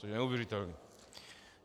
Což je neuvěřitelné.